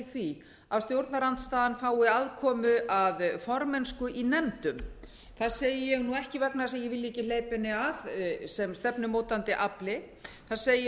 því að stjórnarandstaðan fái aðkomu að formennsku í nefndum það segi ég ekki vegna þess að ég vilji ekki hleypa henni að sem stefnumótandi afli það segi